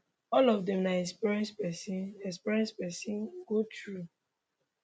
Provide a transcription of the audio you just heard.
all of dem na experiences pesin experiences pesin go through